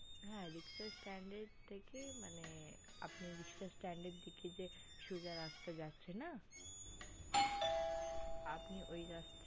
হ্যা riksha staind থেকে মানে আপনে riksha staind দিকে যে সোজা রাস্তা যাচ্ছে না আপনে ওই রাস্তার